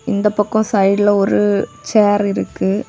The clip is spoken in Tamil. இந்த பக்கோ சைடுல ஒரு சேர் இருக்கு.